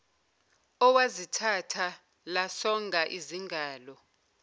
owazithatha lasonga izingalo